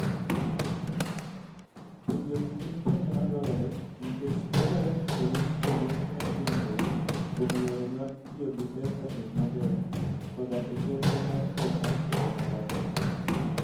Penjogi gin penjo madwarore nikech dwarore ni orit kendo omed genruok kuom yore mag tiyo gi pesa e yo maber, koda e chenro mar pesa e yo malach.